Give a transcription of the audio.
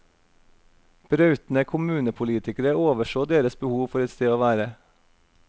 Brautende kommunepolitikere overså deres behov for et sted å være.